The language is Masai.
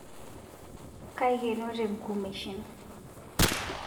Kaikenote ngumeshin